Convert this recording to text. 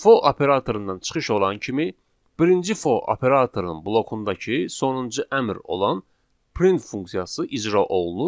For operatorundan çıxış olan kimi birinci for operatorunun blokundakı sonuncu əmr olan print funksiyası icra olunur.